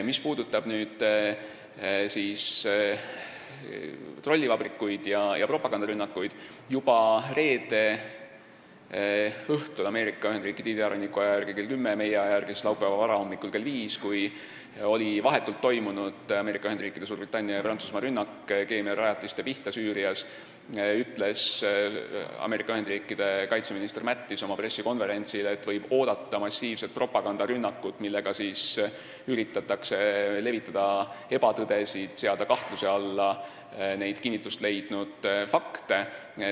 Mis puudutab trollivabrikuid ja propagandarünnakuid, siis juba reede õhtul, Ameerika Ühendriikide idaranniku aja järgi kell 10 ja meie aja järgi laupäeva varahommikul kell 5, kui oli vahetult toimunud Ameerika Ühendriikide, Suurbritannia ja Prantsusmaa rünnak keemiarajatiste pihta Süürias, ütles Ameerika Ühendriikide kaitseminister Mattis oma pressikonverentsil, et võib oodata massiivset propagandarünnakut, millega üritatakse levitada ebatõdesid ja seada kahtluse alla kinnitust leidnud fakte.